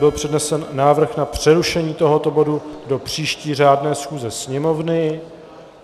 Byl přednesen návrh na přerušení tohoto bodu do příští řádné schůze Sněmovny.